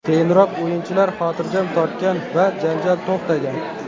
Keyinroq o‘yinchilar xotirjam tortgan va janjal to‘xtagan.